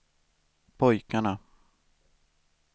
pojkarna